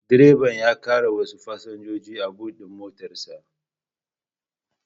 Direban ya ƙara wasu fasinjoji a bot din motar sa